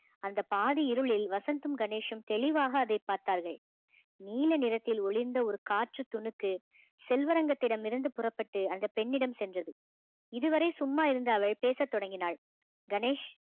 அந்த பாதி இருளில் வசந்தும் கணேஷும் தெளிவாக அதை பார்த்தார்கள் நீல நிறத்தில் ஒளிர்ந்த ஒரு காற்று துணுக்கு செல்வரங்கத்திடம் இருந்து புறப்பட்டு அந்த பெண்ணிடம் சென்றது இதுவரை சும்மா இருந்த அவள் பேசத் தொடங்கினாள்